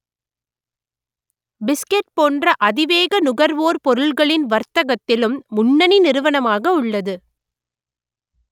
biscuit போன்ற அதிவேக நுகர்வோர் பொருடகளின் வர்த்தகத்திலும் முன்னணி நிறுவனமாக உள்ளது